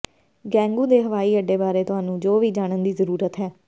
ਗੈਂਗੂ ਦੇ ਹਵਾਈ ਅੱਡੇ ਬਾਰੇ ਤੁਹਾਨੂੰ ਜੋ ਵੀ ਜਾਣਨ ਦੀ ਜ਼ਰੂਰਤ ਹੈ